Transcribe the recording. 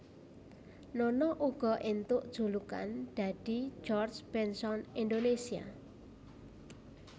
Nono uga éntuk julukan dadi George Benson Indonésia